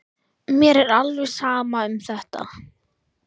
Mér er alveg sama um þetta.